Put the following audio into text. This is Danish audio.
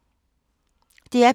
DR P2